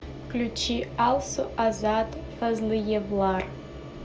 включи алсу азат фазлыевлар